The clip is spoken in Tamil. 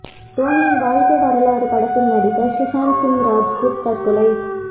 தோனியின் வாழ்க்கை வரலாற்று படத்தில் நடித்த சுஷாந்த் சிங் ராஜ்புத் தற்கொலை